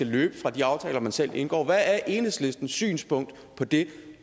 løber fra de aftaler man selv indgår hvad er enhedslistens synspunkt på det